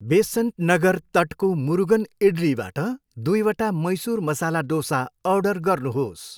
बेसन्ट नगर तटको मुरुगन इड्लीबाट दुईवटा मैसुर मसाला डोसा अर्डर गर्नुहोस्।